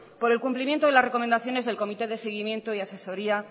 por el cumplimiento en las recomendaciones del comité de seguimiento y asesoría